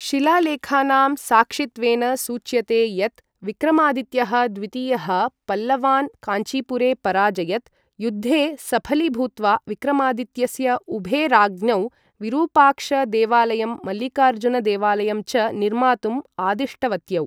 शिलालेखानां साक्षित्वेन सूच्यते यत् विक्रमादित्यः द्वितीयः पल्लवान् काञ्चीपुरे पराजयत, युद्धे सफलीभूत्वा विक्रमादित्यस्य उभे राज्ञौ, विरूपाक्ष देवालयं मल्लिकार्जुन देवालयं च निर्मातुम् आदिष्टवत्यौ।